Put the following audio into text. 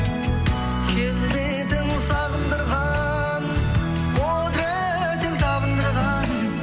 келбетің сағындырған құдыретің табындырған